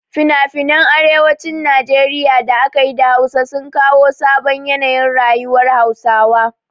Finafinan arewacin Najeriya da aka yi da Hausa sun kawo sabon yanayin rayuwar Hausawa.